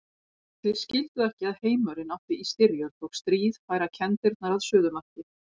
Þeir skildu ekki að heimurinn átti í styrjöld og stríð færa kenndirnar að suðumarki.